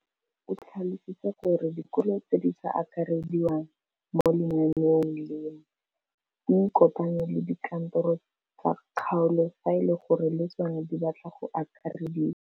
O tlhalositse gore dikolo tse di sa akarediwang mo lenaaneng leno di ikopanye le dikantoro tsa kgaolo fa e le gore le tsona di batla go akarediwa.